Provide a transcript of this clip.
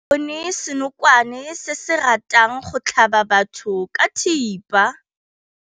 Re bone senokwane se se ratang go tlhaba batho ka thipa.